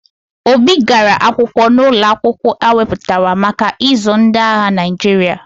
Obi gara akwụkwọ n'ụlọ akwụkwọ e weputara maka ịzụ ndị agha Naịjirịa.